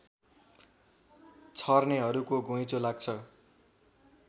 छर्नेहरूको घुइँचो लाग्छ